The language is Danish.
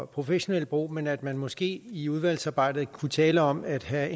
professionelt brug men at man måske i udvalgsarbejdet kunne tale om at have